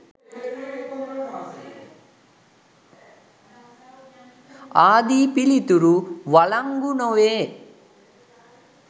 ආදී පිළිතුරු වලංගු නො වේ.